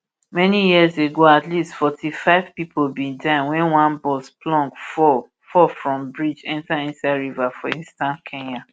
many years ago at least forty-five pipo bin die wen one bus plunge fall fall from bridge enta inside river for eastern kenya